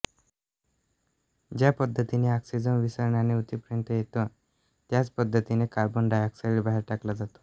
ज्या पद्धतीने ऑक्सिजन विसरणाने उतीपर्यंत येतो त्याच पद्धतीने कार्बन डाय ऑक्साइड बाहेर टाकला जातो